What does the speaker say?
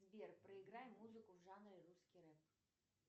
сбер проиграй музыку в жанре русский рэп